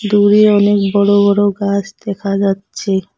দূরে অনেক বড় বড় গাছ দেখা যাচ্ছে।